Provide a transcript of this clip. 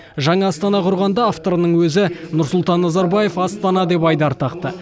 жаңа астана құрғанда авторының өзі нұрсұлтан назарбаев астана деп айдар тақты